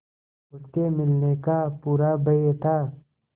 उसके मिलने का पूरा भय था